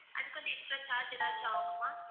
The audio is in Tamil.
அது வந்து extra charge எதாச்சு ஆகுமா?